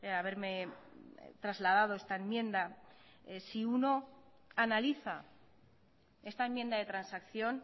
haberme trasladado esta enmienda si uno analiza esta enmienda de transacción